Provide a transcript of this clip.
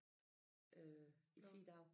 Øh i 4 dage